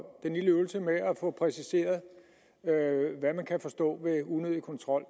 få præciseret hvad man kan forstå ved unødig kontrol